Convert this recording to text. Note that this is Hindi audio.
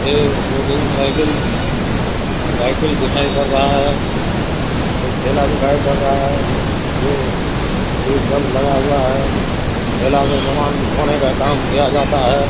एक दो तीन साइकिल साइकिल दिखाई पड़ रहा है एक ठेला दिखाई पड़ रहा है जो अभी सब लगा हुआ है ठेला पर सामान ढोने का काम किया जाता है।